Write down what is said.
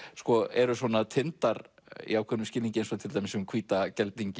eru svona tindar í ákveðnum skilningi eins og til dæmis um hvíta